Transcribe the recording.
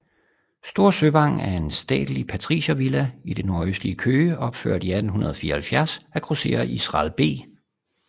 Store Søvang er en statelig patriciervilla i det nordlige Køge opført i 1874 af grosserer Israel B